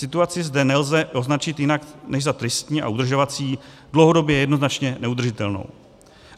Situaci zde nelze označit jinak než za tristní a udržovací, dlouhodobě jednoznačně neudržitelnou.